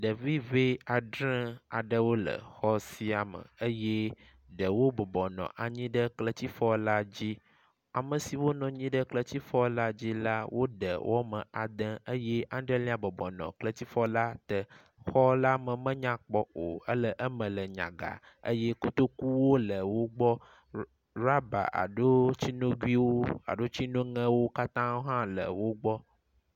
Ɖevi ŋe adre aɖewo le xɔ sia me eye ɖewo bɔbɔnɔ anyi ɖe kletifɔ la dzi. Ame siwo nɔ anyi ɖe kletifɔ la dzi la wode wɔme ade eye adrelia bɔbɔnɔ kletifɔ la te. Xɔ la me menya kpɔ o ele eme le nyaga eye kotokuwo le wo gbɔ, ɖɔba alo tsinoguwo alo tsinoŋewo katã wo hã le wo gbɔ.